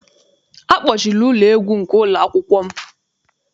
Akpọchiri ụlọ egwu nke ụlọakwụkwọ m.